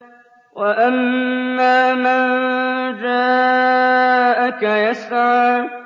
وَأَمَّا مَن جَاءَكَ يَسْعَىٰ